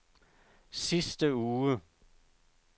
sidste uge